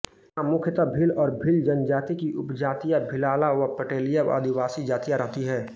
यहां मुख्यत भील और भील जनजाति की उपजातियां भीलाला व पटेलिया आदिवासी जातियां रहती हैं